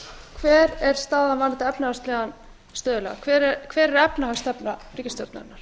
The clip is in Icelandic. hver er staðan varðandi efnahagslegan stöðugleika hver er efnahagsstefna ríkisstjórnarinnar